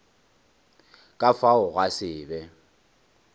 ka fao gwa se be